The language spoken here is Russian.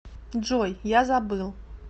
джой я забыл